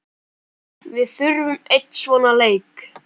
Við þurfum einn svona leik.